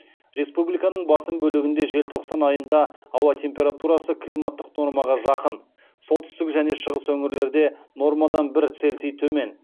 республиканың басым бөлігінде желтоқсан айында ауа температурасы климаттық нормаға жақын солтүстік және шығыс өңірлерде нормадан бір цельси төмен